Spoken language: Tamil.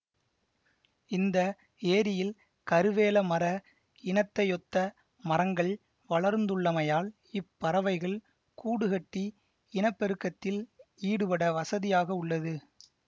இந்த ஏரியில் கருவேல மர இனத்தையொத்த மரங்கள் வளர்ந்துள்ளமையால் இப்பறவைகள் கூடுகட்டி இனப்பெருக்கத்தில் ஈடுபட வசதியாக உள்ளது